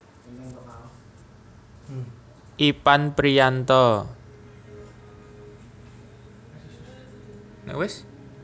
Ipan Priyanto